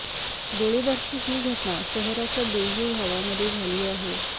गोळीबाराची ही घटना शहराच्या बेव्यू भागामध्ये झाली आहे